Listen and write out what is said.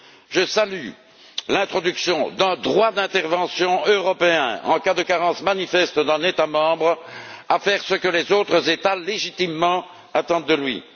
Je salue l'introduction d'un droit d'intervention européen en cas de carence manifeste d'un État membre à faire ce que les autres États, légitimement, attendent de lui.